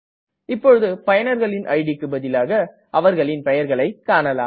இப்பொழுது பயனர்களின் idக்கு பதிலாக அவர்களின் பெயர்களை காணலாம்